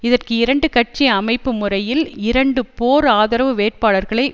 இதற்கு இரண்டு கட்சி அமைப்பு முறையில் இரண்டு போர் ஆதரவு வேட்பாளர்களை